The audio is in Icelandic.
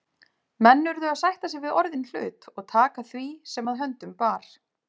Menn urðu að sætta sig við orðinn hlut og taka því sem að höndum bar.